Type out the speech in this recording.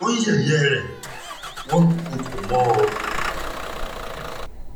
wọ́n ń yẹ̀yẹ́ rẹ̀ wọ́n ń dúnkookò mọ́ ọn